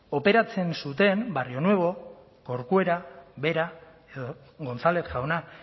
operatzen zuten barrionuevo corcuera vera edo gonzález jauna